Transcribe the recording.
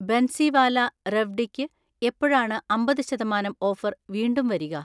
ബൻസിവാല റെവ്ഡിയ്ക്ക് എപ്പോഴാണ് അമ്പത് ശതമാനം ഓഫർ വീണ്ടും വരിക?